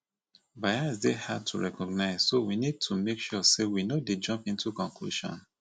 bias dey hard to recognize so we need to make sure sey we no dey jump into conclusion